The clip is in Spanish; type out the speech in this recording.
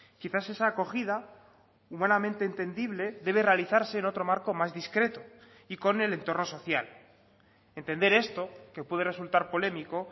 quizás esa acogida humanamente entendible debe realizarse en otro marco más discreto y con el entorno social entender esto que puede resultar polémico